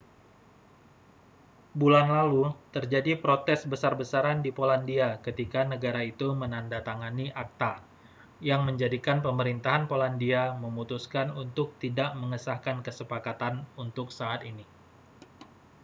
bulan lalu terjadi protes besar-besaran di polandia ketika negara itu menandatangani acta yang menjadikan pemerintahan polandia memutuskan untuk tidak mengesahkan kesepakatan untuk saat ini